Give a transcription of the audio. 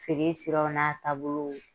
Feere siraw n'a taabolo